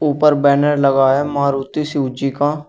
ऊपर बैनर लगा है मारुति सूजी का।